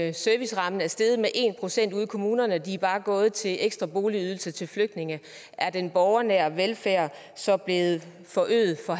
at servicerammen er steget med en procent ude i kommunerne men at de bare er gået til ekstra boligydelse til flygtninge er den borgernære velfærd så blevet forøget for